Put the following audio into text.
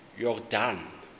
yordane